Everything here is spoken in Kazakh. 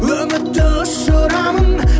үмітті ұшырамын